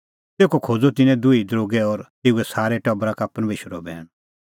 तेखअ खोज़अ तिन्नैं दुही दरोगै और तेऊए सारै टबरा का परमेशरो बैण